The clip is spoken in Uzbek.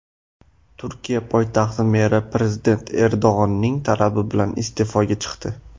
Turkiya poytaxti meri prezident Erdo‘g‘onning talabi bilan iste’foga chiqdi.